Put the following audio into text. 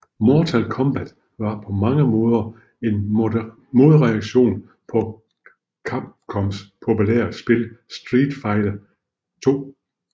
Mortal Kombat var på mange måder en modreaktion på Capcoms populære spil Street Fighter II